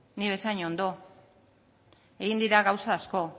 nik bezain ondo egin dira gauza asko